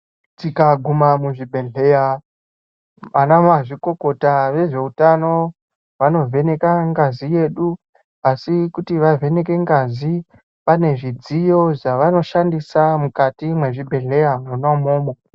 Tikaguma muzvibhedhlera anamazvikokota vezvehutano vanovheneka ngazi yedu asi kuti vavheneke ngazi pane zvidziyo zvawanoshandisa mukati mezvibhedhlera mona imomo.